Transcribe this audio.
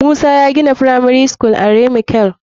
Musa ya gina firamari school are mikil.